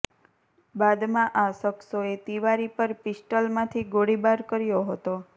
બાદમાં આ શખ્સોએ તિવારી પર પિસ્ટલમાંથી ગોળીબાર કર્યો હતો